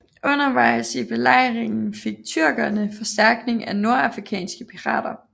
Undervejs i belejringen fik tyrkerne forstærkning af nordafrikanske pirater